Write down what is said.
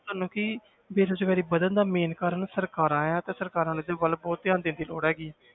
ਤੁਹਾਨੂੰ ਕਿ ਬੇਰੁਜ਼ਗਾਰੀ ਵੱਧਣ ਦਾ main ਕਾਰਨ ਸਰਕਾਰਾਂ ਹੈ ਤੇ ਸਰਕਾਰਾਂ ਨੂੂੰ ਇਹਦੇ ਵੱਲ ਬਹੁਤ ਧਿਆਨ ਦੇਣ ਦੀ ਲੋੜ ਹੈਗੀ ਹੈ,